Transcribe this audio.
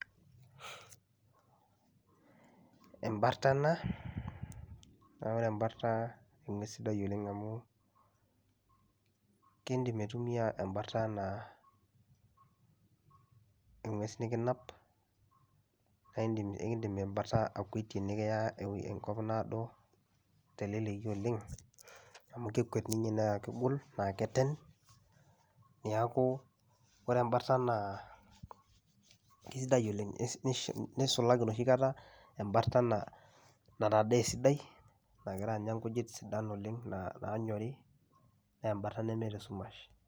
Embartana neeku ore embarta eng'ues sidai oleng' amu kiindim aitumia embartana eng'ues nekinap nae iindim kekiindim embarta akuetie nekiya enkop naado teleleki oleng' amu kekwet ninye naake egol naake eten. Neeku ore embartana kesidai oleng' nish nisulaki enoshi kata embartana natadee esidai nagira aanya nkujit sidan oleng' naa naanyori nee embarta nemeeta esumash.